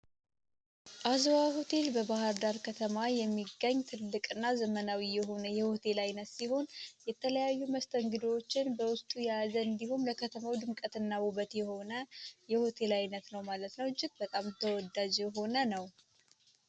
አዝዋ ሆቴል በባህር ዳር ከተማ የሚገኝ ትልቅ እና ዘመናዊ የሆነ የሆቴል ዓይነት ሲሆን የተለያዩ መስተንግዶዎችን በውስጡ የያዘ እንዲሁም ለከተማው ድምቀትና ቡበት የሆነ የሆቴል ዓይነት ነው ማለት ነው ጅት በጣም ተወደዥ ሆነ ነው